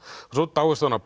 svo dáist hann að